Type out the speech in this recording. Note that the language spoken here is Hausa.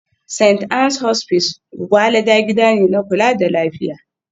St. Ann's Hospice Gwgwalada gida ne na kula da lafiya